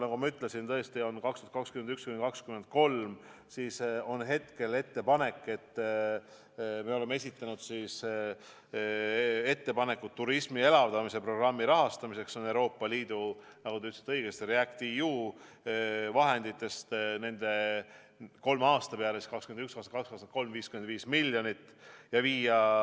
Nagu ma ütlesin, me oleme esitanud ettepanekud turismi elavdamise programmi rahastamiseks Euroopa Liidu REACT-EU vahenditest nende kolme aasta peale – 2021, 2022, 2023 – 55 miljoni ulatuses.